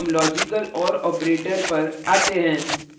अब हम logical or operator पर we हैं